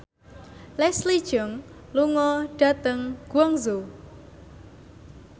Leslie Cheung lunga dhateng Guangzhou